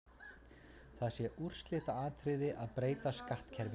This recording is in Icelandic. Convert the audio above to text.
Það sé úrslitaatriði að breyta skattkerfinu.